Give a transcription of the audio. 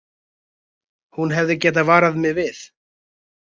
Hún hefði getað varað mig við.